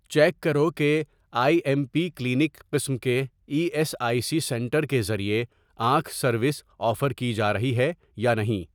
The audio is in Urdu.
چیک کرو کہ آئی ایم پی کلینک قسم کے E S I C centre کے ذریعے آنکھ سروس آفر کی جارہی ہے یا نہیں